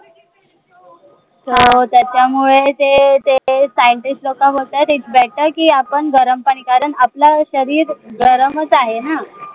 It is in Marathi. अं त्याच्यामुळे ते ते scientist लोक म्हणतात आहे की, आपण गरम पाणी कारण आपलं शरीर गरमच आहे ना